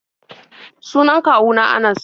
Sunan kwawu na Anas.